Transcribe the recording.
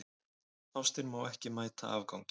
Ástin má ekki mæta afgangi.